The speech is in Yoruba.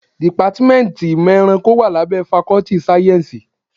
Dìpátmẹ́ntì ìmọ̀ ẹranko wá lábẹ́ fakọ́ltì sáyẹ́nsì.